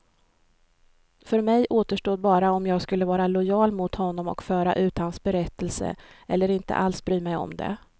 För mig återstod bara om jag skulle vara lojal mot honom och föra ut hans berättelse, eller inte alls bry mig om det.